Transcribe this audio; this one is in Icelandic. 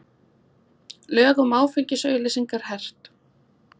Lög um áfengisauglýsingar hert